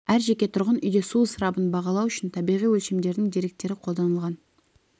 әр жеке тұрғын үйде су ысырабын бағалау үшін табиғи өлшемдердің деректері қолданылған